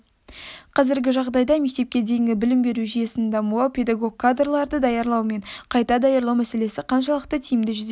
қазіргі жағдайда мектепке дейінгі білім беру жүйесінің дамуы педагог кадрларды даярлау мен қайта даярлау мәселесі қаншалықты тиімді жүзеге